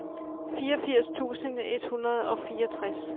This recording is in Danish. fireogfirs tusind et hundrede og fireogtres